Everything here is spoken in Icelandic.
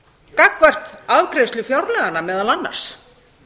gagnvart afgreiðslu fjárlaganna meðal annars